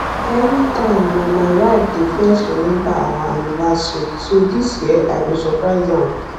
everytime na my wife dey first remember our anniversary so dis year i go surprise am